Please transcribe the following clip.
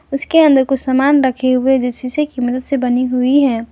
उसके अंदर कुछ सामान रखे हुए जो शीशे की मदद से बनी हुई है।